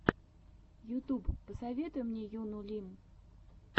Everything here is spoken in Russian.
ютуб посоветуй мне юну лим